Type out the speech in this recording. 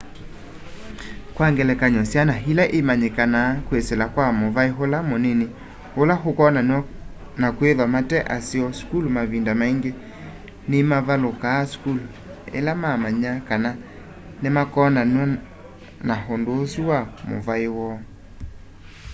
kwa ngelekany'o syana ila imanyikanaa kwisila kwa muvai ula munini ula ukonanaw'a na kwithwa mate aseo sukulu mavinda maingi nimavalukaa sukulu ila mamanya kana nimakonanaw'a na undu usu wa muvai woo